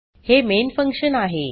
हे main function आहे